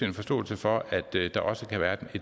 en forståelse for at der også kan være